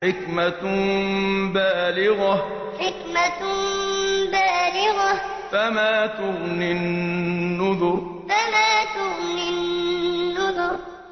حِكْمَةٌ بَالِغَةٌ ۖ فَمَا تُغْنِ النُّذُرُ حِكْمَةٌ بَالِغَةٌ ۖ فَمَا تُغْنِ النُّذُرُ